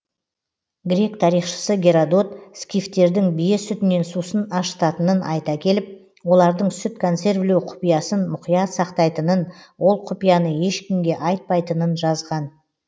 грек тарихшысы герадот скифтердің бие сүтінен сусын ашытатынын айта келіп олардың сүт консервілеу құпиясын мұқият сақтайтынын ол құпияны ешкімге айтпайтынын жазған